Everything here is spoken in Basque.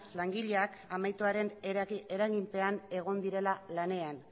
langileak amiantoaren eraginpean egon direla lanean